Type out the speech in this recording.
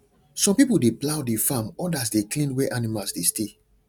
some people dey plough the farm others dey clean where animals dey stay